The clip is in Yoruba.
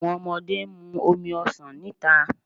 Awọn ọmọde n mu omi ọsan nita